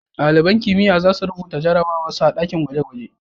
Dalibain kimiyya za su rubuta jarabawan su a dakin gwaje-gwaje.